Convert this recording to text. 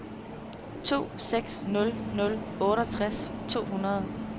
to seks nul nul otteogtres to hundrede